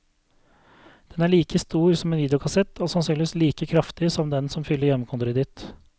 Den er like stor som en videokassett, og sannsynligvis like kraftig som den som fyller hjemmekontoret ditt.